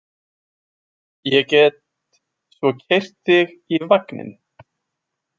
Ég get svo keyrt þig í vagninn.